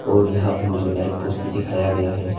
और यहां पर मुझे लाइट पोस्ट दिखाया गया है।